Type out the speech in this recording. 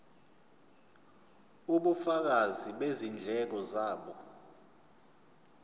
ubufakazi bezindleko zabo